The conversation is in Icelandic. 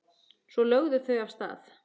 Svo lögðu þau af stað.